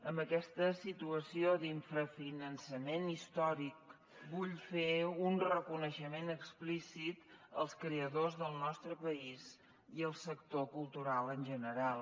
amb aquesta situació d’infrafinançament històric vull fer un reconeixement explícit als creadors del nostre país i al sector cultural en general